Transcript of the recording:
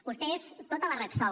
vostè és tota la repsol